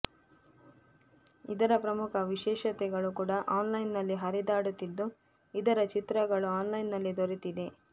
ಇದರ ಪ್ರಮುಖ ವಿಶೇಷತೆಗಳೂ ಕೂಡ ಆನ್ಲೈನ್ನಲ್ಲಿ ಹರಿದಾಡುತ್ತಿದ್ದು ಇದರ ಚಿತ್ರಗಳು ಆನ್ಲೈನ್ನಲ್ಲಿ ದೊರೆತಿದೆ